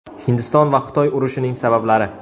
Hindiston va Xitoy urushining sabablari.